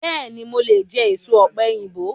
Bẹ́ẹ̀ni, mo lè jẹ èso ọ̀pẹ̀yìnbo.